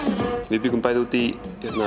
við bjuggum bæði úti í